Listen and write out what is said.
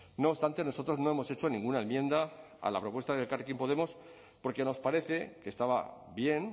no obstante nosotros no hemos hecho ninguna enmienda a la propuesta de elkarrekin podemos porque nos parece que estaba bien